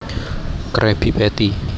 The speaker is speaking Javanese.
Krabby Patty